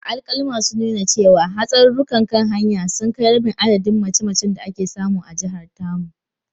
Alkaluma sun nuna cewa, hatsarurrukan kan hanya sun kai rabin adadin mace-macen da ake samu a jihar tamu.